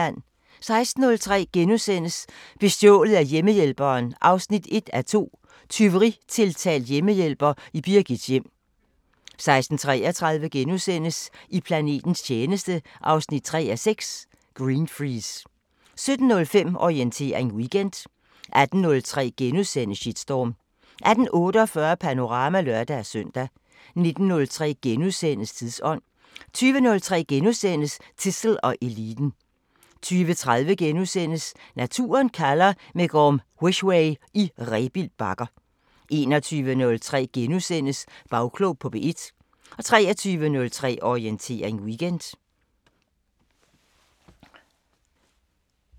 16:03: Bestjålet af hjemmehjælperen 1:2 – Tyveritiltalt hjemmehjælper i Birgits hjem * 16:33: I planetens tjeneste 3:6 – Greenfreeze * 17:05: Orientering Weekend 18:03: Shitstorm * 18:48: Panorama (lør-søn) 19:03: Tidsånd * 20:03: Zissel og Eliten * 20:30: Naturen kalder – med Gorm Wisweh i Rebild Bakker * 21:03: Bagklog på P1 * 23:03: Orientering Weekend